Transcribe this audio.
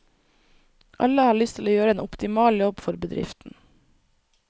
Alle har lyst til å gjøre en optimal jobb for bedriften.